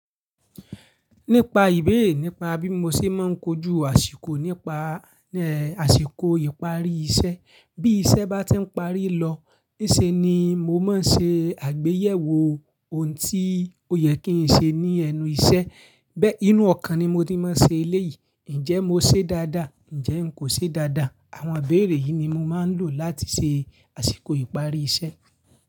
Nípa ìbéèrè nípa bí mo ṣe máa ń kojú àsìkò nípa, ẹ́, àsìkò ìparí iṣẹ́. Bí iṣẹ́ bá ti ń parí lọ, níṣe ni mo máa ń ṣe àgbéyẹ̀wò ohun tí ó yẹ kí n ṣe ní ẹnu iṣẹ́. Bé, inú ọ̀kan ni mo ti mọ ń ṣe eléyìí. Ǹjẹ́ mo ṣe dáadáa, ǹjẹ́ n kò ṣe dáadáa. Àwọn ibéèrè yìí ni mo máa ń lò láti ṣe àsìkò ìparí iṣẹ́.